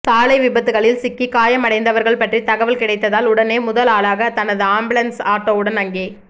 சாலை விபத்துக்களில் சிக்கி காயம் அடைந்தவர்கள் பற்றி தகவல் கிடைத்தால் உடனே முதல் ஆளாக தனது ஆம்புலன்ஸ் ஆட்டோவுடன் அங்கே